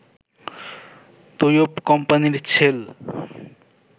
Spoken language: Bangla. তৈয়ব কোম্পানির ছেল